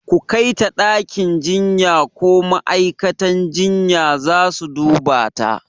ku Kaita ɗakin jinya ko ma'aikatan jinya zasu dubata